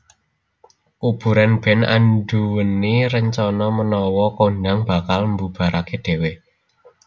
Kuburan band anduweni rencana menawa kondhang bakal mbubaraké dhewe